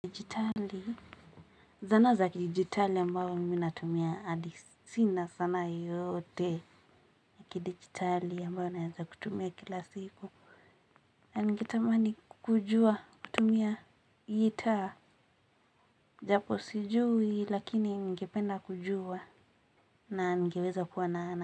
Zana za kidijitali ambayo mimi natumia adi sina sanaa yeyote. Kidijitali ambayo naeza kutumia kila siku. Na ningetamani kujua kutumia gitaa japo sijui lakini ningependa kujua na ningeweza kuwa na ana.